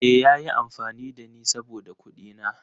Eh, ya yi amfani da ni saboda kuɗina.